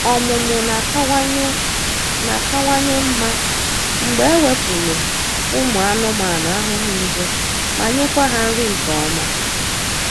Ọmụmụ na-akawanye na-akawanye mma mgbe ewepụlụ ụmụ anụmanụ ahụhụ nje ma nyekwa ha nri nke ọma.